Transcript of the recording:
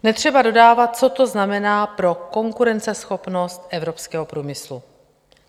Netřeba dodávat, co to znamená pro konkurenceschopnost evropského průmyslu.